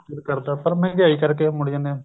ਪਰ ਮਹਿੰਗਾਈ ਕਰਕੇ ਮੁੜ ਜਾਨੇ ਆ